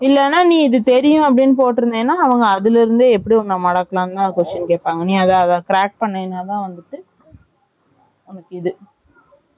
இல்லனா நீ இது தெரியும் அப்படின்னு போட்டு இருந்தனா அவங்க அதுல இருந்து உன்ன எப்படி மடக்கலாம் அப்படின்னு தான் question கேப்பாங்க அத நீ Crack பண்ணதான் உனக்கு இது